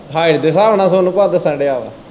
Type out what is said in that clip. Height ਦੇ ਸਾਬ ਨਾਲ ਸੋਨੂ ਭਾਅ ਦੱਸਣ ਦਿਆ ਵਾ।